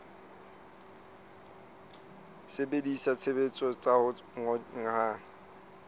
sebedisa ditshebeletso tsa ho kgonahatsa